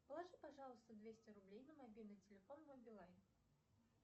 положи пожалуйста двести рублей на мобильный телефон мой билайн